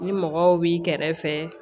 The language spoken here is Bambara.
Ni mɔgɔw b'i kɛrɛfɛ